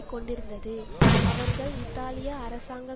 கொண்டிருந்தது அவர்கள் இத்தாலிய அரசாங்க